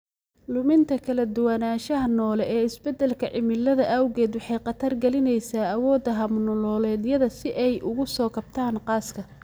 Luminta kala duwanaanshaha noole ee isbeddelka cimilada awgeed waxay khatar gelinaysaa awoodda hab-nololeedyada si ay uga soo kabtaan qaska.